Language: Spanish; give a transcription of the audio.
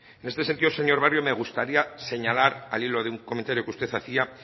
en este sentido señor barrio me gustaría señalar al hilo de un comentario que usted hacía